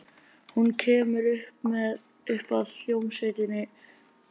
Hún kemur upp að hljómsveitinni.